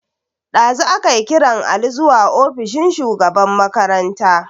Dazu akai kiran Ali zuwa ofishin shugaban makaranta.